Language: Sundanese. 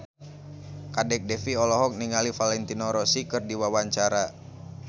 Kadek Devi olohok ningali Valentino Rossi keur diwawancara